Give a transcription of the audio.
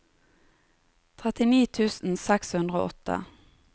trettini tusen seks hundre og åtte